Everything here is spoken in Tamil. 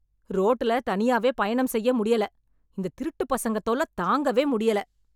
ரோட்டுல தனியாவே பயணம் செய்ய முடியல. இந்த திருட்டுப் பசங்க தொல்ல தாங்கவே முடியல.